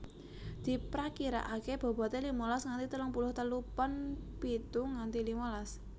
Diprakiraakè bobote limalas nganti telung puluh telu pon pitu nganti limalas